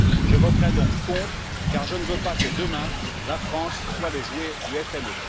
Je voterai donc contre, car je ne veux pas que demain la France soit le jouet du FME.